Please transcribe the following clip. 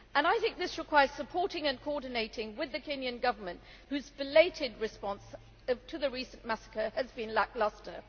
I think this requires supporting and coordinating with the Kenyan Government, whose belated response to the recent massacre has been lacklustre.